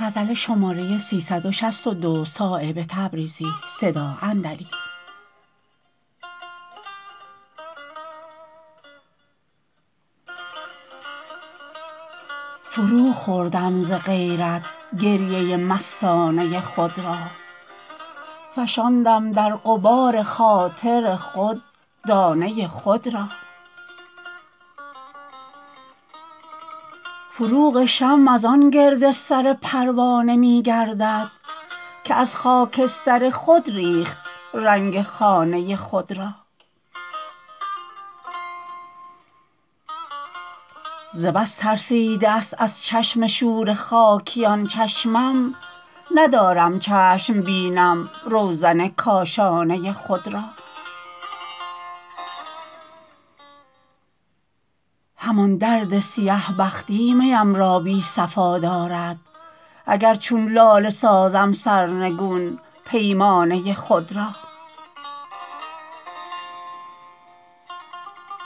فرو خوردم ز غیرت گریه مستانه خود را فشاندم در غبار خاطر خود دانه خود را فروغ شمع ازان گرد سر پروانه می گردد که از خاکستر خود ریخت رنگ خانه خود را ز بس ترسیده است از چشم شور خاکیان چشمم ندارم چشم بینم روزن کاشانه خود را همان درد سیه بختی میم را بی صفا دارد اگر چون لاله سازم سرنگون پیمانه خود را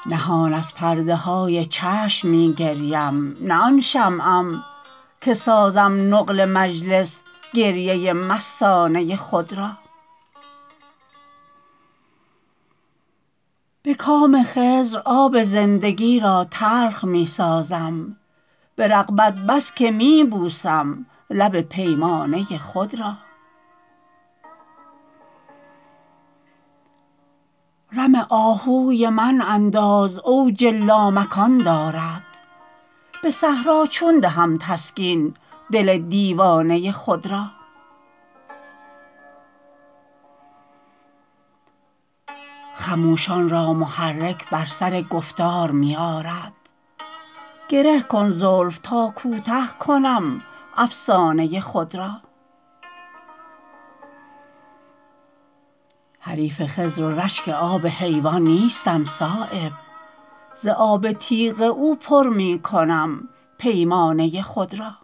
نهان از پرده های چشم می گریم نه آن شمعم که سازم نقل مجلس گریه مستانه خود را به کام خضر آب زندگی را تلخ می سازم به رغبت بس که می بوسم لب پیمانه خود را رم آهوی من انداز اوج لامکان دارد به صحرا چون دهم تسکین دل دیوانه خود را خموشان را محرک بر سر گفتار می آرد گره کن زلف تا کوته کنم افسانه خود را حریف خضر و رشک آب حیوان نیستم صایب ز آب تیغ او پر می کنم پیمانه خود را